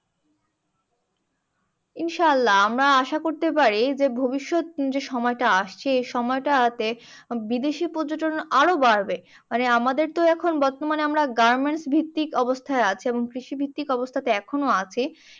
ইনশাআল্লা আমরা আশা করতে পারি যে, ভবিষ্যত যে সময়টা আসছে এই সময়টাতে বিদেশি পর্যটন আরও বাড়বে। মানে আমাদের তো এখন বর্তমানে আমরা garments ভিত্তিক অবস্থায় আছে এবং কৃষি ভিত্তিক অবস্থাতে এখনো আছে।